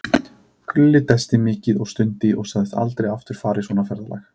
Gulli dæsti mikið og stundi og sagðist aldrei aftur fara í svona ferðalag.